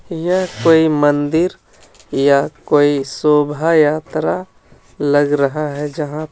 यह कोई मन्दिर या कोई शोभा यात्रा लग रहा है जहां पे --